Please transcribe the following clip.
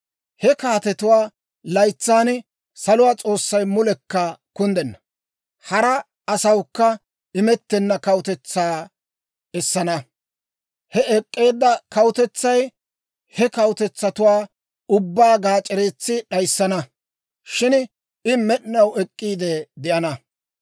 «He kaatetuwaa laytsan, saluwaa S'oossay mulekka kunddenna, hara asawukka imettenna kawutetsaa essana. He ek'k'eedda kawutetsay he kawutetsatuwaa ubbaa gaac'ereetsi d'ayissana; shin I med'inaw ek'k'iide de'ana.